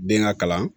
Den ka kalan